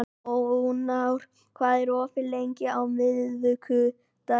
Ónar, hvað er opið lengi á miðvikudaginn?